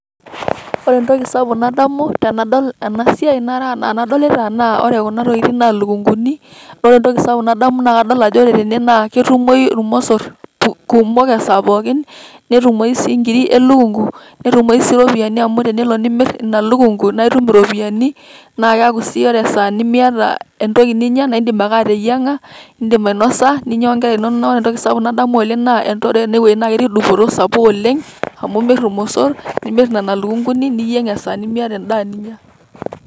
Ore entoki sapuk nadamu tenadol ena siai nadolita naa ore kuna tokitin naa ilukung'uni. Ore entoki sapuk nadamu tene naa ketumoyu irmosor kumok esaa pookin, netumoyu sii nkirik e lukung'u, netumoyu sii iropiani amu tenelo nimir ina lukung'u nae itum iropiani naake eeku sii ore esaa nemiata entoki ninya naake indim ake ateyiang'a nindim ainosa, ninya wo nkera inonok. Ore entoki sapuk nadamu oleng' naa, ore ene wueji naake etii dupoto sapuk oleng' amu imir irmosor, nimr nena lukung'uni, ninyeng' esaa nemiata endaa ninya.